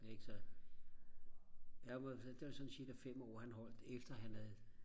ikke så det var sådan cirka 5 år han holdt efter han havde